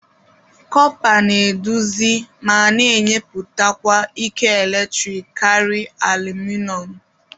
Kọpa na eduzi ma na-enyepụkwa ike eletrik karị alụmịnọm